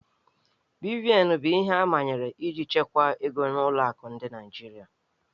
BVN bụ ihe amanyere iji chekwaa ego n'ụlọ akụ dị na Naịjirịa